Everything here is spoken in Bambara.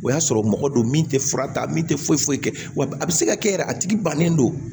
O y'a sɔrɔ mɔgɔ don min tɛ fura ta min tɛ foyi foyi kɛ wa a bɛ se ka kɛ yɛrɛ a tigi bannen don